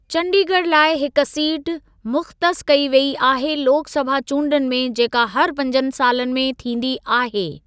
चंडीगढ़ लाइ हिक सीट मुख्तस कई वेई आहे लोक सभा चूंडुनि में, जेका हर पंजनि सालनि में थींदी आहे।